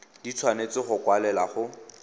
di tshwanetse go kwalelwa go